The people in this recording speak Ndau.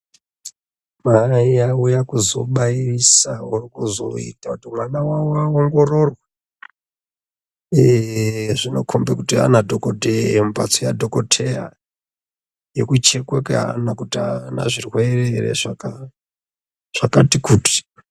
Mai auya kuzobairisawo kuzoita kuti mwana wavo aongororwe. Eee zvinokhombe kuti ana dhokodhee mumphatso yadhokotheya, yekuchekwa kweana kuti aana zvirwere ere zvaka zvakati kuti.